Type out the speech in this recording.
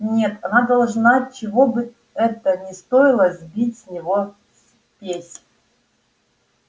нет она должна чего бы это ни стоило сбить с него спесь